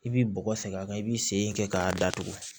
I b'i bɔgɔ sen a kan i b'i sen kɛ k'a datugu